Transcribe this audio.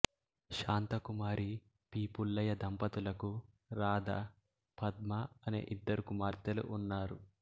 Shanthakumari P Pullaiah దంపతులకు రాధ పద్మ అనే ఇద్దరు కుమార్తెలు ఉన్నారు